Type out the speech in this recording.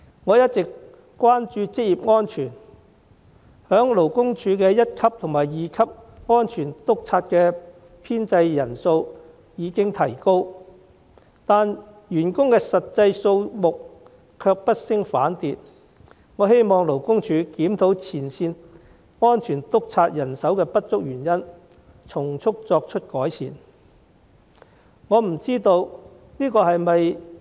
我一直關注職業安全，勞工處一級和二級職業安全主任的編制人數已經提高，但員工的實際數目卻不升反跌，我希望勞工處檢討前線職業安全主任人手不足的原因，從速作出改善。